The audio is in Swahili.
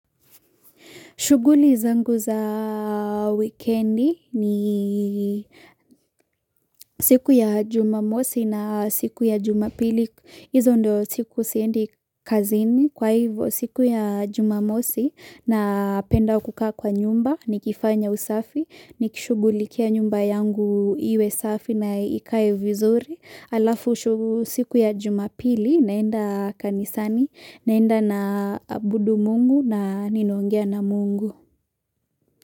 Shughuli zangu za wikendi ni siku ya jumamosi na siku ya jumapili. hIzo ndo siku siendi kazini kwa hivyo siku ya jumamosi napenda kukaa kwa nyumba. Nikifanya usafi, nikishughulikia nyumba yangu iwe safi na ikae vizuri. Alafu shugu siku ya jumapili naenda kanisani, naenda na abudu Mungu na ninaongea na Mungu.